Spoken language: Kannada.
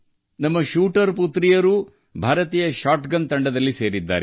ನಮ್ಮ ಶೂಟರ್ ಹೆಣ್ಣುಮಕ್ಕಳೂ ಭಾರತೀಯ ಶಾಟ್ಗನ್ ತಂಡದ ಭಾಗವಾಗಿದ್ದಾರೆ